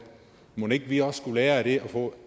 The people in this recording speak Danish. mon ikke vi også skulle lære af det og få